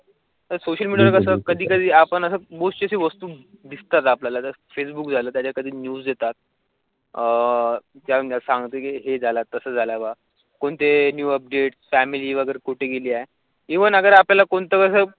social media कसा कधि कधि आपण आसा अह जाण्यास सांगतो की हे झाला तसा लावा कोणते न्यु अपडेट फॅमिली वगैरे कुठे गेली आहे इव्हन जर आपल्याला कोणतं